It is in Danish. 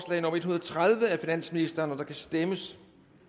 tredive af finansministeren der kan stemmes